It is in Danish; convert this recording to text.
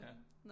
Ja